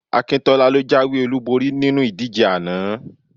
Akíntọ́lá ló jáwé olúborí nínú ìdìbò ana